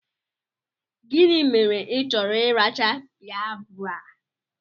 Gịnị mere i chọrọ ị racha pibeapụ?